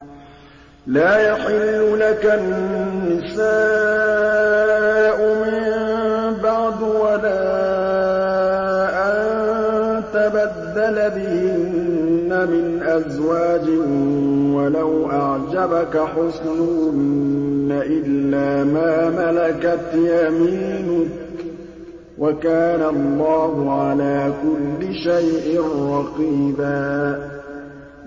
لَّا يَحِلُّ لَكَ النِّسَاءُ مِن بَعْدُ وَلَا أَن تَبَدَّلَ بِهِنَّ مِنْ أَزْوَاجٍ وَلَوْ أَعْجَبَكَ حُسْنُهُنَّ إِلَّا مَا مَلَكَتْ يَمِينُكَ ۗ وَكَانَ اللَّهُ عَلَىٰ كُلِّ شَيْءٍ رَّقِيبًا